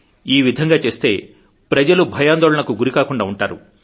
ఈ విధంగా చేస్తే ప్రజలు భయాందోళనలకు గురికాకుండా ఉంటారు